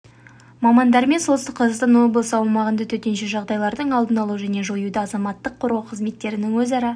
мамандарымен солтүстік қазақстан облысы аумағында төтенше жағдайлардың алдын алу және жоюда азаматтық қорғау қызметтерінің өзара